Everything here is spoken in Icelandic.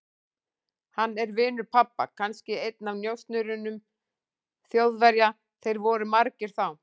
Hann er vinur pabba, kannski einn af njósnurum Þjóðverja, þeir voru margir þá.